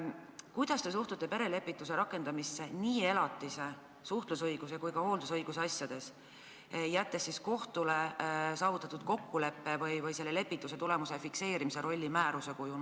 Kuidas te suhtute perelepituse rakendamisse elatise, suhtlusõiguse ja ka hooldusõiguse asjades, jättes kohtule saavutatud kokkuleppe või lepituse tulemuse fikseerimise rolli määruse kujul?